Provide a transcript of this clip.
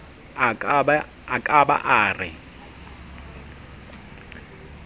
a ka ba a re